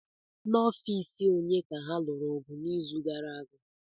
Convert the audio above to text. N'ọfịs onye ka ha lụrụ ọgụ n'izu gara aga?